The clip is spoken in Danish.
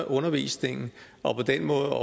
undervisningen og på den måde